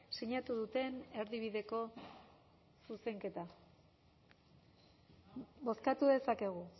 sinatu duten erdibideko zuzenketa bozkatu dezakegu